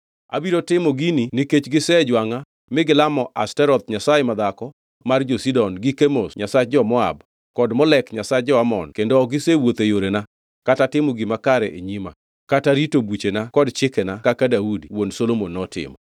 Abiro timo gini nikech gisejwangʼa mi gilamo Ashtoreth nyasaye madhako mar jo-Sidon gi Kemosh nyasach jo-Moab kod Molek nyasach jo-Amon kendo ok gisewuotho e yorena; kata timo gima kare e nyima, kata rito buchena kod chikena kaka Daudi, wuon Solomon notimo.